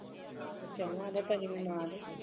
ਭਾਜੀ ਆ ਗਏ